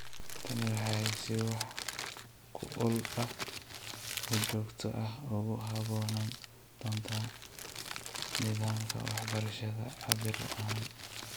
Tani waxay si wax ku ool ah oo joogto ah ugu habboonaan doontaa nidaamka waxbarashada cabbir ahaan.